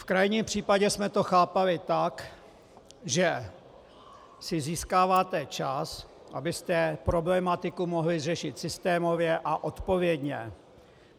V krajním případě jsme to chápali tak, že si získáváte čas, abyste problematiku mohli řešit systémově a odpovědně.